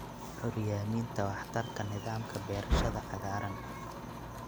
Curyaaminta waxtarka nidaamka beerashada cagaaran.